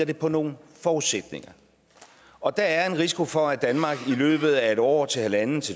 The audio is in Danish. det på nogle forudsætninger og der er en risiko for at danmark i løbet af et år til halvandet